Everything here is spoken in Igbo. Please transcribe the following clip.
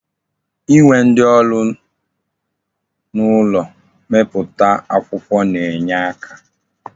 Inwe ndi oru n'ulo mmeputa akwukwo na-enye aka.